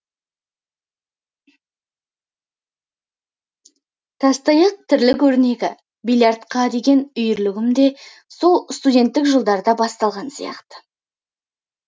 тастаяқ тірлік өрнегі бильярдқа деген үйірлігім де сол студенттік жылдарда басталған секілді